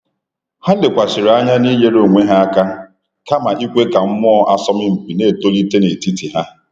Ha lekwasịrị anya n’inyere onwe ha aka, kama ikwe ka mmụọ asọmpi na-etolite n'etiti ha.